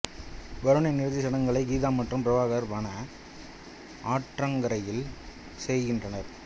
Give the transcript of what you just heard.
வருணின் இறுதி சடங்குகளை கீதா மற்றும் பிரபாகர் வன ஆற்றங்கரையில் செய்கின்றனர்